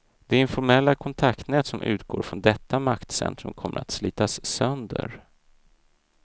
De informella kontaktnät som utgår från detta maktcentrum kommer att slitas sönder.